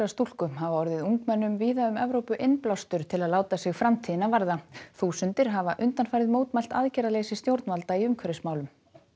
stúlku hafa orðið ungmennum víða um Evrópu innblástur til að láta sig framtíðina varða þúsundir hafa undanfarið mótmælt aðgerðaleysi stjórnvalda í umhverfismálum